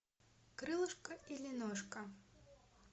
крылышко или ножка